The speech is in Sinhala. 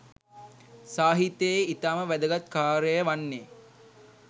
සාහිත්‍යයේ ඉතාම වැදගත් කාර්යය වන්නේ